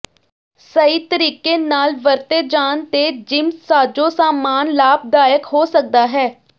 ਸਹੀ ਤਰੀਕੇ ਨਾਲ ਵਰਤੇ ਜਾਣ ਤੇ ਜਿਮ ਸਾਜੋ ਸਾਮਾਨ ਲਾਭਦਾਇਕ ਹੋ ਸਕਦਾ ਹੈ